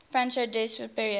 franco sensi's period